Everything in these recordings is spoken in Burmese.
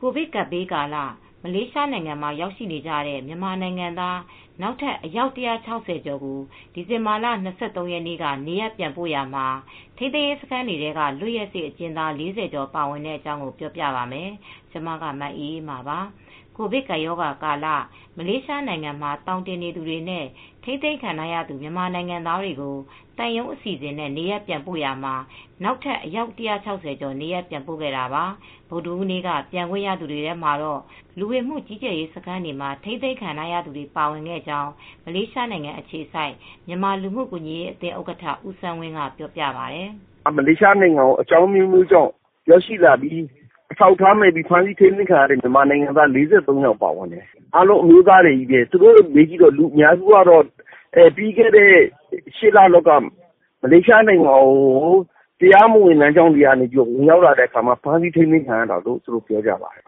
ကိုဗစ်ကပ်ဘေးကာလ မလေးရှားနိုင်ငံမှာရောက်နေကြတဲ့ မြန်မာနိုင်ငံသား နောက်ထပ် အယောက် ၁၆ဝ ကျော်ကို ဒီဇင်ဘာလ ၂၃ရက်နေ့က နေရပ်ပြန်ပို့ရာမှာ ထိန်းသိမ်းရေးစခန်းတွေထဲက လွတ်ရက်စေ့အကျဉ်းသား ၄ဝကျော်ပါဝင်တဲ့အကြောင်း မအေးအေးမာ က ပြောပြပေးပါလိမ့်မယ်။ ကိုဗစ်ကပ်ရာဂါကာလ မလေးရှားနိုင်ငံမှာ သောင်တင်နေသူတွေနဲ့ ထိန်းသိမ်းခံထားရသူ မြန်မာနိုင်ငံသားတွေကို သံရုံးအစီအစဉ်နဲ့ နေရပ်ပြန်ပို့နေရာမှာ နောက်ထပ်အယောက် ၁၆ဝ ကျော်နေရပ်ပြန်ပို့ခဲ့တာပါ။ ဗုဒဟူးနေ့က ပြန်ခွင့်ရသူတွေထဲမှာတော့ လူဝင်မှုကြီးကြပ်ရေးစခန်းတွေမှာ ထိန်းသိမ်းခံခဲ့ရသူတွေလည်း ပါဝင်ခဲ့ကြောင်း မလေးရှားနိုင်ငံအခြေစိုက် မြန်မာလူမူကူညီရေးအသင်းဥက္ကဌ ဦးစန်းဝင်းက ပြောပါတယ်။ "မလေးရှားနိုင်ငံကိုအကြောင်းအမျိုးမျိုးကြောင့်ရောက်ရှိလာပြီး အထောက်အထားမဲ့ ဖမ်းဆီးထိမ်းသိမ်းခံရတဲ့မြန်မာနိုင်ငံသား ၄၃ ယောက်ပါတယ်။ အားလုံးအမျိုးသားတွေပဲ။ ပြီးခဲ့တဲ့ ၈ လ လောက်က မလေးရှားနိုင်ငံကို တရားမဝင်လမ်းကြောင်းကနေ ဝင်ရောက်လာပြီးဖမ်းဆီးထိမ်းသိမ်းခံရတာလို့ပြောပြပါတယ်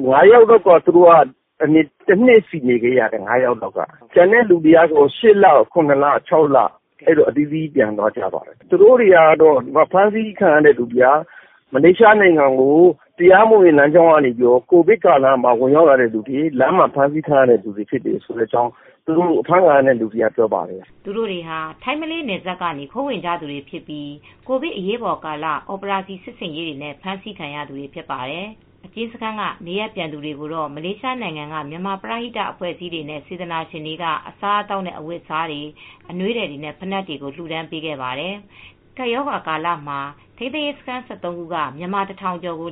။ ၅ ယောက်လောက်က တနှစ်လောက်ကြာတယ်။ ကျန်တဲ့ သူတွေက ၈ လ ရ လ ၆ လ ကြာနေခဲ့ရတယ်လို့ ဖမ်းဆီးခံရသူတွေကပြောပြပါတယ် ။ သူတို့တွေဟာ မလေးရှားနိုင်ငံကို ကိုဗစ်ကာလမှာတရားမဝင်တဲ့နည်းနဲ့ဝင်ရောက်လာကြလို့ ဖမ်းဆီးခံရတဲ့သူတွေဖြစ်တယ်ဆိုတာသူတို့ပြောပြကြပါတယ်"။ သူတို့တွေဟာထိုင်းမလေးနယ်စပ်ကနေ ခိုးဝင်ကြသူတွေဖြစ်ပြီး ကိုဗစ်အရေးပေါ်ကာလ အော်ပရောစီစစ်ဆင်ရေးတွေနဲ့ဖမ်းဆီးခံရသူတွေဖြစ်ကြပါတယ်။ အကျဉ်းစခန်းကနေ နေရပ်ပြန်သူတွေကိုတော့ မလေးရှားနိုင်ငံကမြန်မာပရဟိတအဖွဲ့အစည်းတွေနဲ့ စေတနာရှင်တွေက အစားအသောက်နဲ့ အဝတ်အစားတွေ အနွေးထည်တွေနဲ့ ဖိနပ်တွေကို လှူဒါန်းပေးခဲ့ပါတယ်။ ကပ်ရောဂါကာလမှာ ထိန်းသိမ်းရေးစခန်း ၁၃ ခုက မြန်မာတထောင်ကျော်ကို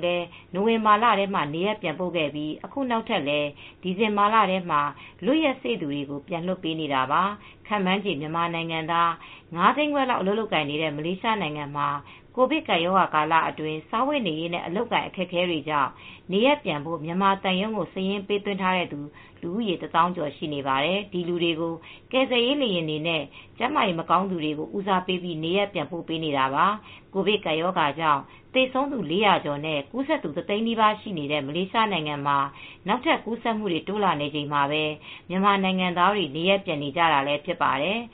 နိုဝင်ဘာလထဲမှာ နေရပ်ပြန်ပို့ခဲ့ပြီး အခုနောက်ထပ်လည်း ဒီဇင်ဘာလထဲမှာ လွတ်ရက်စေ့သူတွေကို ပြန်လွှတ်ပေးနေတာပါ။ ခန့်မှန်းခြေ မြန်မာနိုင်ငံသား ၅ သိန်းခွဲလောက်အလုပ်လုပ်ကိုင်နေတဲ့မလေးရှားမှာ ကိုဗစ်ကပ်ရောဂါကာလအတွင်း စားဝတ်နေရေးနဲ့ အလုပ်အကိုင်အခက်အခဲတွေကြောင့် နေရပ်ပြန်ဖို့ မြန်မာသံရုံးမှာ စာရင်းပေးသွင်းထားသူ တသောင်းကျော်ရှိနေပါတယ်။ ဒီလူတွေကို ကယ်ဆယ်ရေးလေယာဉ်တွေနဲ့ ကျန်းမာရေးမကောင်းသူတွေကို ဦးစားပေးပြီးနေရပ်ပြန်ပို့နေတာပါ။ ကိုဗစ်ကပ်ရောဂါကြောင့် သေဆုံးသူ လေးရာကျော်နဲ့ ကူးစက်သူ တသိန်းနီးပါးရှိနေတဲ့ မလေးရှားနိုင်ငံမှာ နောက်ထပ်ကူးစက်မှုတွေ တိုးလာနေချိန်မှာပဲ မြန်မာနိုင်ငံသားတွေ နေရပ်ပြန်နေကြတာလည်း ဖြစ်ပါတယ်။